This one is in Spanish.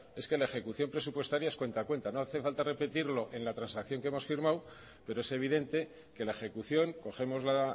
es que la ejecución presupuestaria es cuenta a cuenta no hace falta repetirlo en la transacción que hemos firmado pero es evidente que la ejecución cogemos la